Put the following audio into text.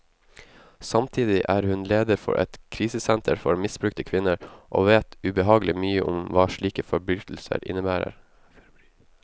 Samtidig er hun leder for et krisesenter for misbrukte kvinner, og vet ubehagelig mye om hva slike forbrytelser innebærer.